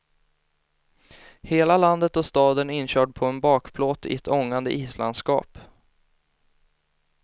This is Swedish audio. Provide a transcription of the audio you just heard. Hela landet och staden inkörd på en bakplåt i ett ångande islandskap.